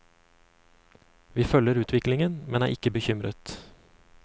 Vi følger utviklingen, men er ikke bekymret.